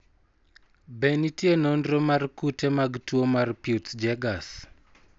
Be nitie nonro mar kute mag tuwo mar Peutz Jeghers?